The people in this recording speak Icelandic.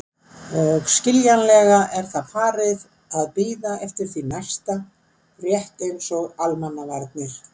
Og skiljanlega er það farið að bíða eftir því næsta, rétt eins og Almannavarnir.